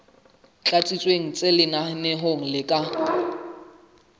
tlatsitsweng tse lenaneong le ka